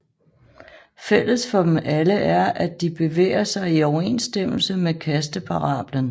Fælles for dem alle er at de bevæger sig i overensstemmelse med kasteparablen